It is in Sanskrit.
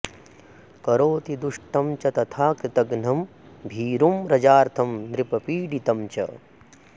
करोति दुष्टं च तथा कृतघ्नं भीरुं रुजार्तं नृपपीडितं च